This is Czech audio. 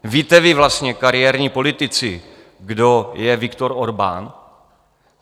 Víte vy vlastně, kariérní politici, kdo je Viktor Orbán?